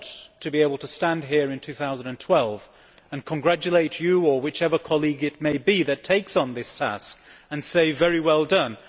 I want to be able to stand here in 2012 and congratulate you, or whichever colleague that takes on this task, and say very well done'.